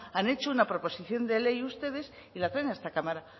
han hecho una proposición de ley ustedes y la traen a esta cámara